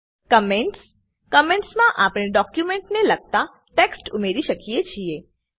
comments comments માં આપણે document ને લગતા ટેક્સટ ઉમેરી શકીએ છીએ